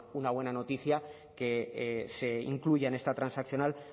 una buena noticia que se incluya en esta transaccional